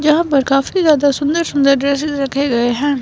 यहां पर काफी ज्यादा सुंदर सुंदर ड्रेसेस रखे गए हैं।